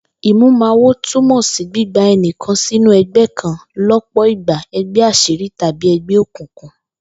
Ìmúwawo túmò̩ sí gbígba e̩nìkan sínú e̩gbé̩ kan ló̩pò̩ ìgbà e̩gbé̩ às̩írí tàbí e̩gbé̩ òkùnkùn